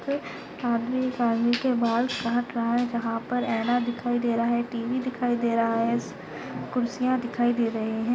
क आदमी आदमी के बाल काट रहा है। जहा पर आइना दिखाई दे रहा है। टी_वी दिखाई दे रहा है। कुर्सियां दिखाई दे रही है।